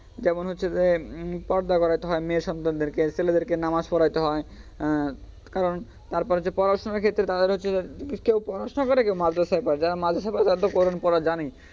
যেমন হচ্ছে যে পর্দা করাইতে হয় মেয়ে সন্তানদেরকে ছেলেদেরকে নামাজ পড়াইতে হয় আহ কারন তারপরে যে পড়াশুনার ক্ষেত্রে তাদের হচ্ছে যে কেউ পড়াশুনা করে কেউ মাদ্রাসাই পড়ে যারা মাদ্রাসাই পড়ে তারা তো কোরান পড়া জানেই,